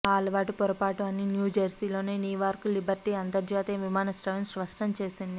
ఆ అలవాటు పొరపాటు అని న్యూజెర్సీలోని నీవార్క్ లిబర్టీ అంతర్జాతీయ విమానాశ్రయం స్పష్టం చేసింది